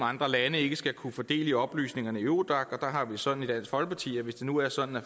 andre lande ikke skal kunne få del i oplysningerne i eurodac der har vi det sådan i dansk folkeparti at hvis det nu er sådan at